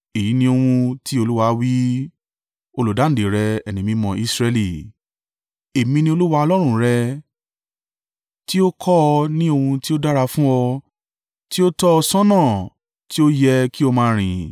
Èyí ni ohun tí Olúwa wí, Olùdáǹdè rẹ, Ẹni Mímọ́ Israẹli: “Èmi ni Olúwa Ọlọ́run rẹ, tí ó kọ́ ọ ní ohun tí ó dára fún ọ, tí ó tọ́ ọ ṣọ́nà tí ó yẹ kí o máa rìn.